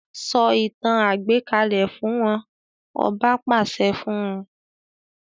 Sọ ìtàn àgbékalẹ̀ fún wọn, ọba pàṣẹ fún un.